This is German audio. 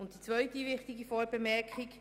Die zweite wichtige Vorbemerkung: